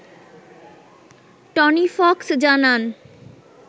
Tony Fox জানান